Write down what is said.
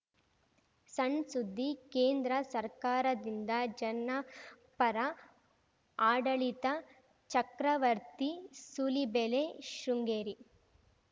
ಸಣ್‌ ಸುದ್ದಿ ಕೇಂದ್ರ ಸರ್ಕಾರದಿಂದ ಜನಪರ ಆಡಳಿತ ಚಕ್ರವರ್ತಿ ಸೂಲಿಬೆಲೆ ಶೃಂಗೇರಿ